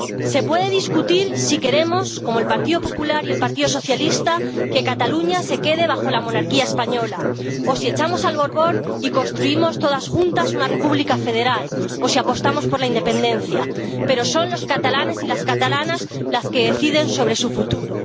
Se puede discutir si queremos, como el Partido Popular y el Partido Socialista, que Cataluña se quede bajo la monarquía española o si echamos al Borbón y construimos todos juntos una república federal o si apostamos por la independencia, pero son los catalanes y las catalanas los que deciden sobre su futuro.